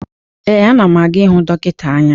Ee, ana m aga ịhụ dọkịta anya.